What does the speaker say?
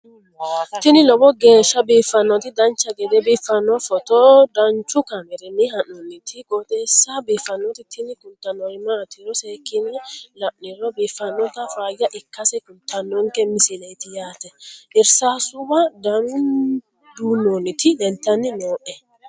tini lowo geeshsha biiffannoti dancha gede biiffanno footo danchu kaameerinni haa'noonniti qooxeessa biiffannoti tini kultannori maatiro seekkine la'niro biiffannota faayya ikkase kultannoke misileeti yaate irsaasuwa duunnoonniti leeltanni nooe